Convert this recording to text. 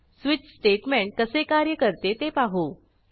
switch statement कसे कार्य करते ते पाहू